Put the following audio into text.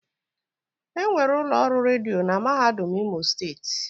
Enwere ụlọ ọrụ redio na mahadum imo steeti.